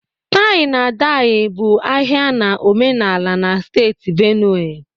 tie-na-edye bụ ahia na omenala na steeti Benue